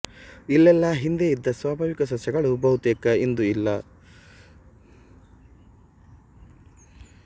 ಇಲ್ಲೆಲ್ಲ ಹಿಂದೆ ಇದ್ದ ಸ್ವಾಭಾವಿಕ ಸಸ್ಯಗಳು ಬಹುತೇಕ ಇಂದು ಇಲ್ಲ